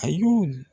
A y'u